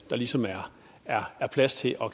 der ligesom er er plads til at